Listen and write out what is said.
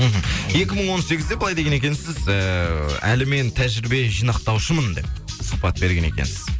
мхм екі мың он сегізде былай деген екенсіз ііі әлі мен тәжірибе жинақтаушымын деп сұхбат берген екенсіз